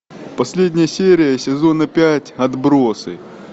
последняя серия сезона пять отбросы